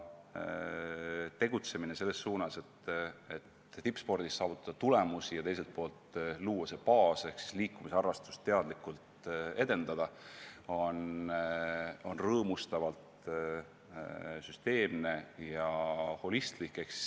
Tegutsemine selles suunas, et tippspordis saavutada tulemusi ja teiselt poolt luua vajalik baas ehk siis liikumisharrastust teadlikult edendada, on rõõmustavalt süsteemne ja holistlik.